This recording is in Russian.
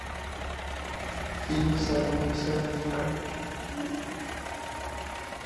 фильм с адамом сэндлером